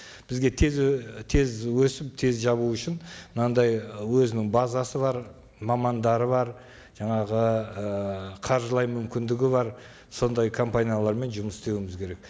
бізге тез тез өсіп тез жабу үшін мынандай өзінің базасы бар мамандары бар жаңағы ыыы қаржылай мүмкіндігі бар сондай компаниялармен жұмыс істеуіміз керек